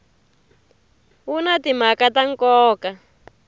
wu na timhaka ta nkoka